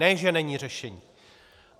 Ne že není řešení.